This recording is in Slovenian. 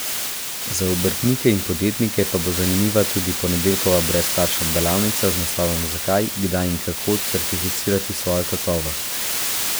Za obrtnike in podjetnike pa bo zanimiva tudi ponedeljkova brezplačna delavnica z naslovom Zakaj, kdaj in kako certificirati svojo kakovost.